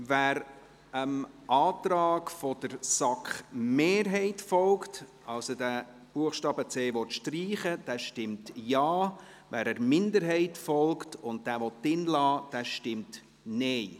Wer dem Antrag der SAK-Mehrheit folgt, also den Buchstaben c streichen will, stimmt Ja, wer der Minderheit folgt und ihn belassen will, stimmt Nein.